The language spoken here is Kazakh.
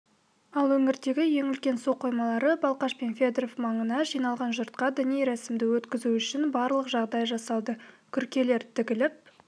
ал өңірдегі ең үлкен су қоймалары балқаш пен федеров маңына жиналған жұртқа діни рәсімді өткізу үшін барлық жағдай жасалды күркелер тігіліп